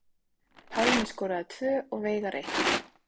Pálmi skoraði tvö og Veigar eitt